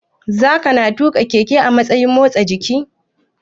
Zakana tuƙa keke a matsayin motsa jiki?